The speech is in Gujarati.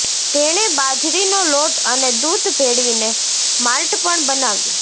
તેણે બાજરીનો લોટ અને દૂધ ભેળવીને માલ્ટ પણ બનાવ્યો